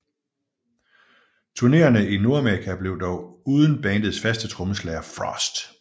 Turnéerne i Nordamerika blev dog uden bandets faste trommeslaget Frost